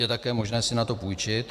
Je také možné si na to půjčit.